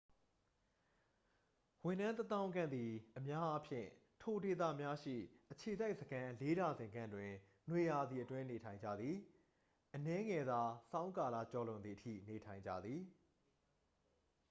ဝန်ထမ်းတစ်သောင်းခန့်သည် အများအားဖြင့် ထိုဒေသများရှိ အခြေစိုက်စခန်းလေးဒါဇင်ခန့်တွင် နွေရာသီအတွင်း နေထိုင်ကြသည် အနည်းငယ်သာ ဆောင်းကာလကျော်လွန်သည်အထိ နေထိုင်ကြသည်